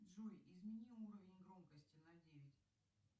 джой измени уровень громкости на девять